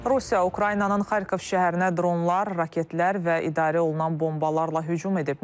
Rusiya Ukraynanın Xarkov şəhərinə dronlar, raketlər və idarə olunan bombalarla hücum edib.